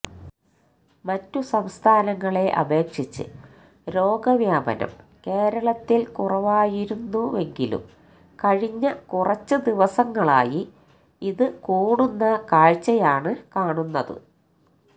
മറ്റ് സംസ്ഥാനങ്ങളെ അപേക്ഷിച്ച് രോഗ വ്യാപനം കേരളത്തിൽ കുറവായിരുന്നുവെങ്കിലും കഴിഞ്ഞ കുറച്ച് ദിവസങ്ങളായി ഇത് കൂടുന്ന കാഴ്ചയാണ് കാണുന്നത്